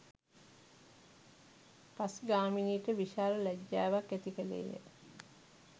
පස් ගාමිණීට විශාල ලැජ්ජාවක් ඇති කළේය